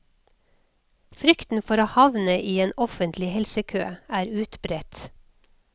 Frykten for å havne i en offentlig helsekø er utbredt.